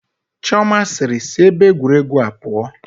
Chioma sịịrị, sị ebe egwuregwu a pụọ